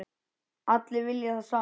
Allir vilja það sama.